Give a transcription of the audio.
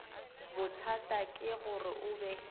bothata ke gore o be